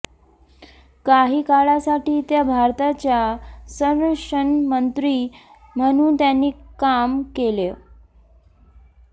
काही काळासाठी त्या भारताच्या संरक्षणमंत्री म्हणून त्यांनी काम केलंय